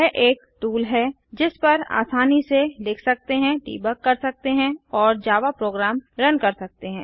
यह एक टूल है जिस पर आसानी से लिख सकते हैं देबुग कर सकते हैं और जावा प्रोग्राम रन कर सकते हैं